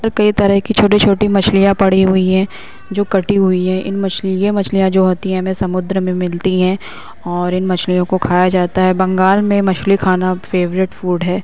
र् कई तरह की छोटी-छोटी मछलियां पड़ी हुई हैं जो कटी हुई हैं। इन मछली ये मछलियां जो होती हैं मे समुद्र में मिलती हैं और इन मछलियों को खाया जाता है। बंगाल में मछली खाना फेवरेट फूड है।